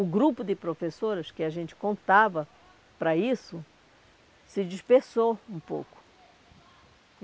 O grupo de professoras que a gente contava para isso, se dispersou um pouco.